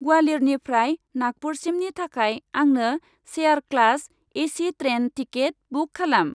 ग्वालियरनिफ्राय नागपुरसिमनि थाखाय आंनो chair class AC. Train ticket book खालाम।